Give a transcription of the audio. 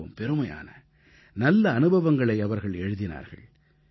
மிகவும் பெருமையான நல்ல அனுபவங்களை அவர்கள் எழுதினார்கள்